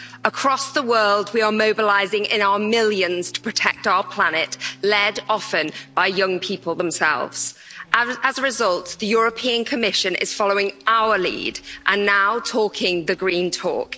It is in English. Across the world we are mobilising in our millions to protect our planet, led often by young people themselves, and as a result, the European Commission is following our lead and now talking the green talk.